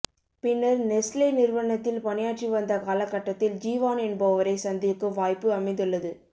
பின்னர் நெஸ்லே நிறுவனத்தில் பணியாற்றி வந்த காலகட்டத்தில் ஜுவான் என்பவரை சந்திக்கும் வாய்ப்பு அமைந்துள்ளது